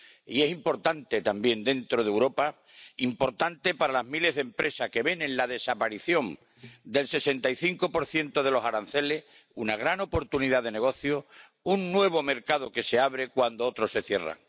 Y es importante también dentro de Europa es importante para las miles de empresas que ven en la desaparición del 65 de los aranceles una gran oportunidad de negocio, un nuevo mercado que se abre cuando otros se cierran.